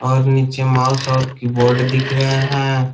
और नीचे माउस और कीबोर्ड दिख रहे हैं।